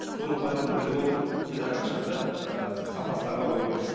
соның барлығын біліп отырып біз әрқашан да ыыы сапасына қарау керекпіз